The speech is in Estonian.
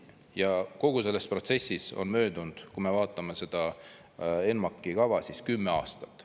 Ja kogu selles protsessis on möödunud, kui me vaatame seda ENMAK-i kava, siis kümme aastat.